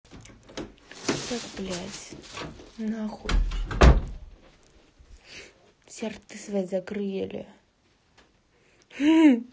вот блядь нахуй все рты свои закрыли